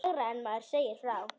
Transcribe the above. Lægra en maður segir frá.